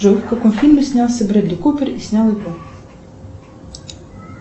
джой в каком фильме снялся бредли купер и снял его